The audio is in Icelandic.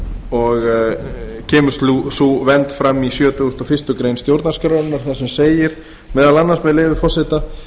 og kemur sú vernd fram í sjötugasta og fyrstu grein stjórnarskrárinnar þar sem segir meðal annars með leyfi forseta